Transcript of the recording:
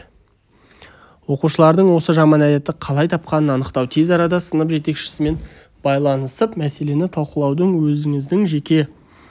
оқушылардың осы жаман әдетті қалай тапқанын анықтау тез арада сынып жетекшімен байланысып мәселені талқылау өзініздің жеке